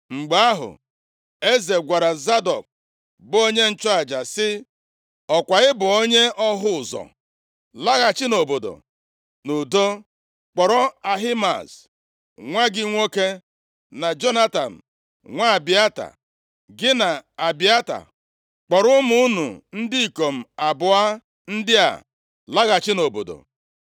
Mgbe ahụ, eze gwara Zadọk bụ onye nchụaja sị, “Ọkwa ị bụ onye ọhụ ụzọ? Laghachi nʼobodo nʼudo, kpọrọ Ahimaaz nwa gị nwoke, na Jonatan nwa Abịata. Gị na Abịata kpọrọ ụmụ unu ndị ikom abụọ ndị a laghachi nʼobodo.